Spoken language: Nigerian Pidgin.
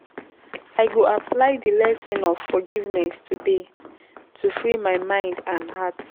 I go apply di lesson of forgiveness today to free my mind and heart.